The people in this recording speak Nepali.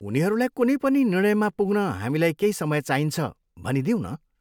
उनीहरूलाई कुनै पनि निर्णयमा पुग्न हामीलाई केही समय चाहिन्छ भनिदिऊँ न।